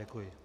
Děkuji.